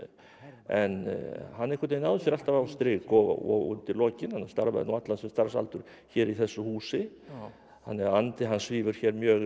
en hann náði sér alltaf á strik og undir lokin hann starfaði nú allan sinn starfsaldur hér í þessu húsi þannig að andi hans svífur hér mjög yfir